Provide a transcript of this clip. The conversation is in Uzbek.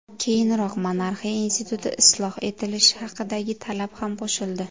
Keyinroq monarxiya instituti isloh etilishi haqidagi talab ham qo‘shildi.